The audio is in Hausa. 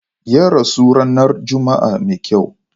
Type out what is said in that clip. Ya rasu ranar Juma'a mai kyau.